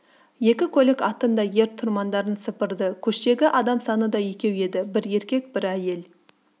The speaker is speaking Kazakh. екі көлік аттың да ер-тұрмандарын сыпырды көштегі адам саны да екеу еді бір еркек бір әйел